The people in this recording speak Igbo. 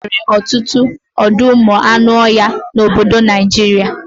Enwere ọtụtụ ọdọụmụanụọhịa n'obodo Naijiria